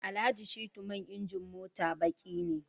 Alhaji Shittu man injin mota baqi ne